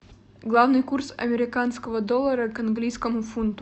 главный курс американского доллара к английскому фунту